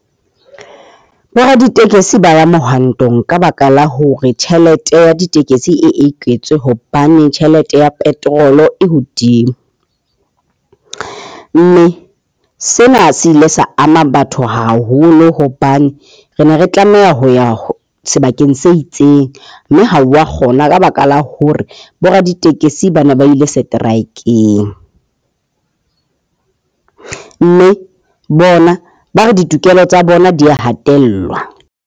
Boraditekesi ba ya mohwantong ka baka la hore tjhelete ya ditekesi e eketswe hobane tjhelete ya petrol e hodimo. Mme sena se ile sa ama batho haholo hobane re ne re tlameha ho ya sebakeng se itseng, mme ha o wa kgona ka baka la hore boraditekesi ba nae ba ile seteraekeng. Mme bona ba re ditokelo tsa bona di a hatellwa.